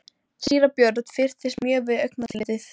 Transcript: Síra Björn fyrtist mjög við augnatillitið.